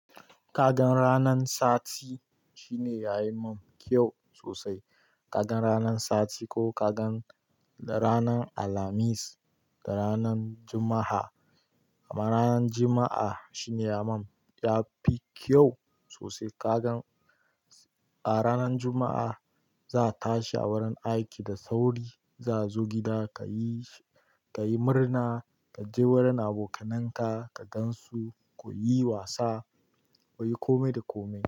Kaga ranan sati shine ya yi mun kyau sosai. Kagan ranan sati ko kagan ranan alhamis da ranan juma'a. Amma ranan juma'a shine ya mun yafi kyau sosai. Kagan a ranan juma'a za a tashi a wurin aiki da sauri, za a zo gida ka yi murna, ka je wurin abokanan ka, ka gan su, ku yi wasa, ku yi komai da komai.